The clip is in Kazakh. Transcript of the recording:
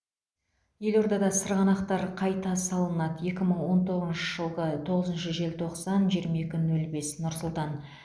елордада сырғанақтар қайда салынады екі мың он тоғызыншы жылғы тоғызыншы желтоқсан жиырма екі нөл бес нұр сұлтан